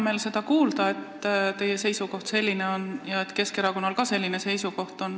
Mul on hea meel kuulda, et teie seisukoht selline on ja et ka Keskerakonnal selline seisukoht on.